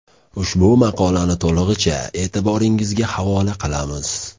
Ushbu maqolani to‘lig‘icha e’tiboringizga havola qilamiz.